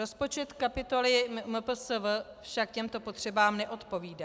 Rozpočet kapitoly MPSV však těmto potřebám neodpovídá.